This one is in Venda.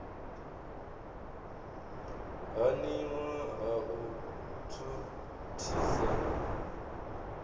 haniwa ha u thuthisa u